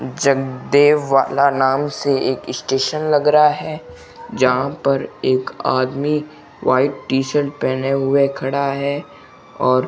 जगदेव वाला नाम से एक स्टेशन लग रहा है जहां पर एक आदमी व्हाइट टी शर्ट पहने हुए खड़ा है और--